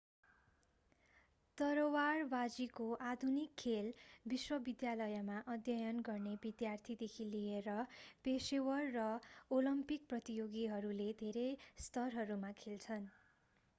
तरवारवाजीको आधुनिक खेल विश्वविद्यालयमा अध्ययन गर्ने विद्यार्थीदेखि लिएर पेशेवर र ओलम्पिक प्रतियोगीहरूले धेरै स्तरहरूमा खेल्छन्